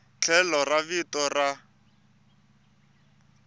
tlhelo ra vito ra n